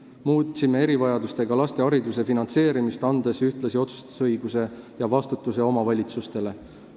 Me muutsime erivajadustega laste hariduse finantseerimist, andes ühtlasi otsustusõiguse ja vastutuse omavalitsustele.